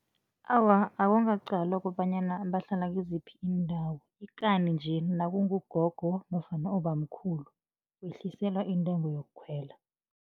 Awa, akungaqalwa kobanyana bahlala kiziphi iindawo, ikani nje nakungugogo nofana ubamkhulu, wehliselwa intengo yokukhwela.